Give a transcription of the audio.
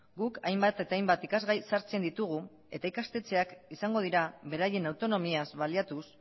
guk hainbat eta hainbat ikasgai sartzen ditugu eta ikastetxeak izango dira beraien autonomiaz baliatuz